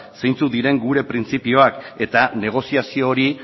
zeintzuk diren gure printzipioak eta negoziazio hori